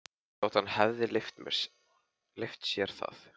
Þótt hann hefði leyft sér það.